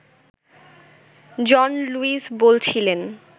জন Lewis বলছিলেন